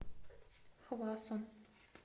хвасон